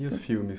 E os filmes?